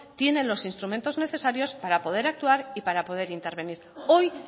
tiene los instrumentos necesarios para poder actuar y para poder intervenir hoy